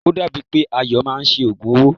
O dàbí è pé Ayọ̀ máa ṣe òògùn owó.